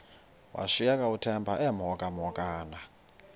washiyeka uthemba emhokamhokana